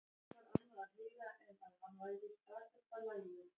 Ekki var annað að heyra en að hann væri í stakasta lagi.